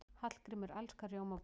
Hallgrímur elskar rjómabollur.